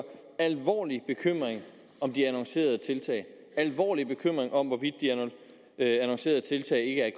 alvorlig bekymring om de annoncerede tiltag alvorlig bekymring om hvorvidt de annoncerede tiltag ikke er